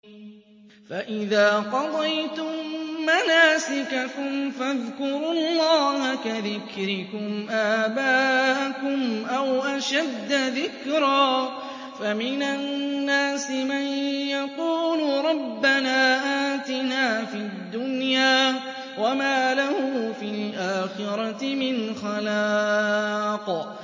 فَإِذَا قَضَيْتُم مَّنَاسِكَكُمْ فَاذْكُرُوا اللَّهَ كَذِكْرِكُمْ آبَاءَكُمْ أَوْ أَشَدَّ ذِكْرًا ۗ فَمِنَ النَّاسِ مَن يَقُولُ رَبَّنَا آتِنَا فِي الدُّنْيَا وَمَا لَهُ فِي الْآخِرَةِ مِنْ خَلَاقٍ